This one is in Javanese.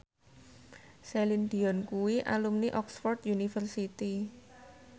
Celine Dion kuwi alumni Oxford university